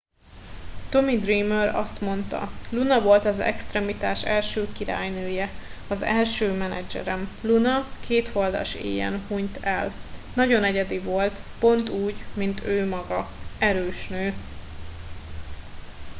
tommy dreamer azt mondta luna volt az extremitás első királynője az első menedzserem luna kétholdas éjen hunyt el nagyon egyedi volt pont úgy mint ő maga erős nő